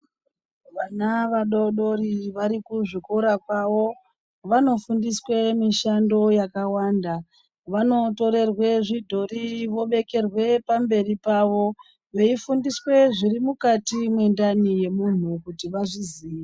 Vana vadodori vari kuzvikora kwavo vanofundiswe mishando yakawanda vanotorerwe zvidhori vobekerwe pamberi pavo veifundiswa zviri mukati mwendani yemunhu kuti vazviziye.